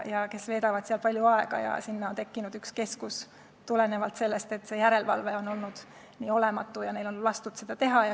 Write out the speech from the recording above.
Nad veedavad seal palju aega ja sinna on tekkinud üks keskus, tulenevalt sellest, et järelevalve on olnud olematu ja neil on lastud seda teha.